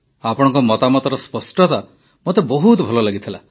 ଆପଣଙ୍କ ମତାମତର ସ୍ପଷ୍ଟତା ମୋତେ ବହୁତ ଭଲ ଲାଗିଥିଲା